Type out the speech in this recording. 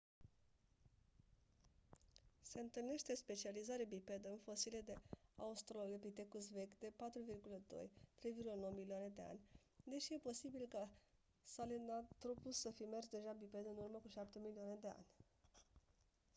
se întâlnește specializare bipedă în fosile de australopithecus vechi de 4,2-3,9 milioane de ani deși e posibil ca sahelanthropus să fi mers deja biped în urmă cu șapte milioane de ani